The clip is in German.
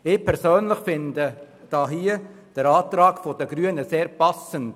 Ich persönlich empfinde den Antrag der Grünen als sehr passend.